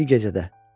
Bir gecədə.